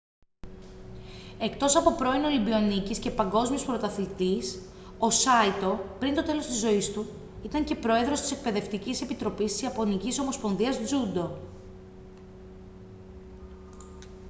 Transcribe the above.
εκτός από πρώην ολυμπιονίκης και παγκόσμιος πρωταθλητής ο σάιτο πριν το τέλος της ζωής του ήταν και πρόεδρος της εκπαιδευτικής επιτροπής της ιαπωνικής ομοσπονδίας τζούντο